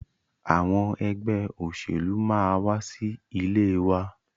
Àwọn ẹgbẹ́ òṣèlú máa wa sí ilé wa.